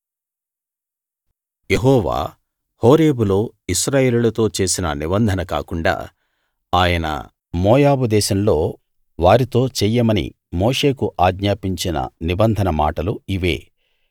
యెహోవా హోరేబులో ఇశ్రాయేలీయులతో చేసిన నిబంధన కాకుండా ఆయన మోయాబు దేశంలో వారితో చెయ్యమని మోషేకు ఆజ్ఞాపించిన నిబంధన మాటలు ఇవే